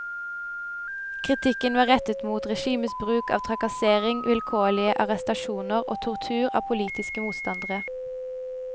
Kritikken var rettet mot regimets bruk av trakassering, vilkårlige arrestasjoner og tortur av politiske motstandere.